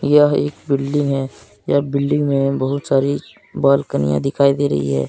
यह एक बिल्डिंग है यह बिल्डिंग में बहुत सारी बालकनियां दिखाई दे रही है।